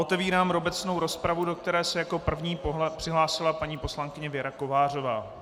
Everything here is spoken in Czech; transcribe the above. Otevírám obecnou rozpravu, do které se jako první přihlásila paní poslankyně Věra Kovářová.